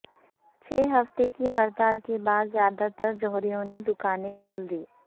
چھ ہفتے کی ہڑتال کے بعد زیادہ تر جوہریوں نے دکانیں کھول دیں